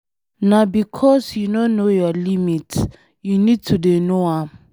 Na because you no know your limit, you need to dey know am.